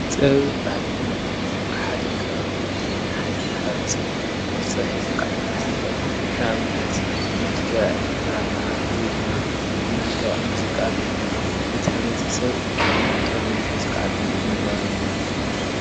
ጥበብን ባህልን ማለት ንሓደ ከባቢ ወይ ድማ ንሓደ ማ/ሰብ ቅርፂ ሒዙ ክዓቢ ዝክእል ኣብነት ብመልክዕ ድራማ ወይድማ ብመልክዕ ሙዚቃ ጌርና ነቲ ሕ/ሰብ ባህሉን ጥበቡን ሒዙ ንክዓቢ ምግባር እዩ፡፡